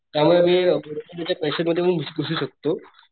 त्यामुळे मीमध्ये पण घुसू शकतो.